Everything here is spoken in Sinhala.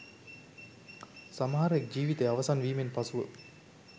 සමහරෙක් ජීවිතය අවසන් වීමෙන් පසුව